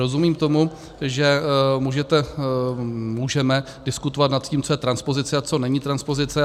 Rozumím tomu, že můžeme diskutovat nad tím, co je transpozice a co není transpozice.